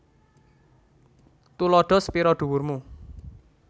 Tuladha sepira dhuwur mu